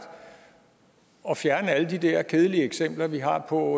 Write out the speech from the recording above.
at fjerne alle de der kedelige eksempler vi har på